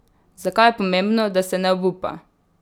Zakaj je pomembno, da se ne obupa?